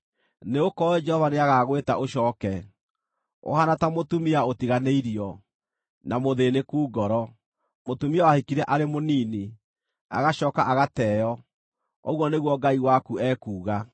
Nĩgũkorwo Jehova nĩagagwĩta ũcooke, ũhaana ta mũtumia ũtiganĩirio, na mũthĩĩnĩku ngoro, mũtumia wahikire arĩ mũnini, agacooka agateo,” ũguo nĩguo Ngai waku ekuuga.